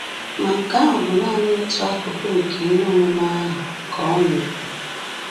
“Ma nke ahụ bụ nanị otu akụkụ nke ihe omume ahụ,” ka ọ na-ekwu.